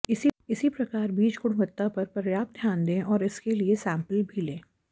इसी प्रकार बीज गुणवक्ता पर पर्याप्त ध्यान दें और इसके लिए सैम्पल भी लें